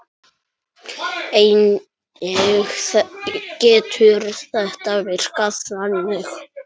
Einnig getur þetta virkað þannig